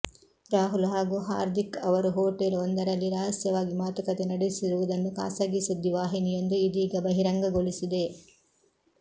ರಾಹುಲ್ ಹಾಗೂ ಹಾರ್ದಿಕ್ ಅವರು ಹೋಟೆಲ್ ವೊಂದರಲ್ಲಿ ರಹಸ್ಯವಾಗಿ ಮಾತುಕತೆ ನಡೆಸಿರುವುದನ್ನು ಖಾಸಗಿ ಸುದ್ದಿ ವಾಹಿನಿಯೊಂದು ಇದೀಗ ಬಹಿರಂಗಗೊಳಿಸಿದೆ